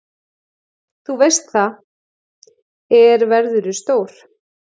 Þú veist það, er verðurðu stór.